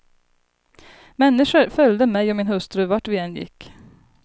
Människor följde mig och min hustru, vart vi än gick.